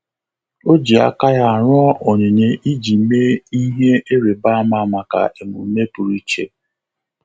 Ọ́ jì áká ya rụọ onyinye iji mee ihe ịrịba ámá maka emume pụ́rụ́ iche.